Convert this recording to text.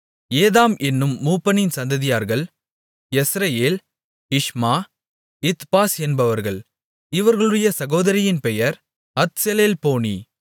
ஏதாம் என்னும் மூப்பனின் சந்ததியார்கள் யெஸ்ரெயேல் இஷ்மா இத்பாஸ் என்பவர்கள் இவர்களுடைய சகோதரியின் பெயர் அத்செலெல்போனி